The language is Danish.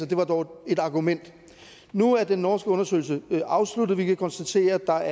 det var dog et argument nu er den norske undersøgelse afsluttet og vi kan konstatere at der